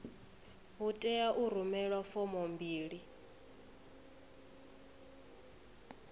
hu tea u rumelwa fomo mbili